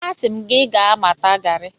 Asị m gị gaa mata garị!